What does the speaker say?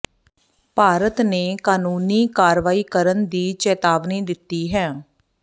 ਭਾਰਤ ਨੇ ਕਾਨੂੰਨੀ ਕਾਰਵਾਈ ਕਰਨ ਦੀ ਚੇਤਾਵਨੀ ਦਿੱਤੀ ਹੈ